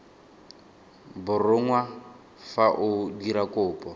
borongwa fa o dira kopo